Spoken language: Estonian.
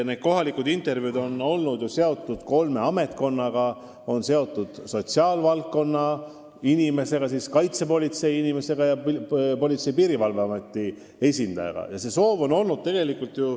Need vestlused on olnud seotud kolme ametkonnaga: nad vestlevad sotsiaalvaldkonna, Kaitsepolitsei ning Politsei- ja Piirivalveameti esindajatega.